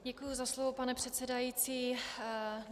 Děkuji za slovo, pane předsedající.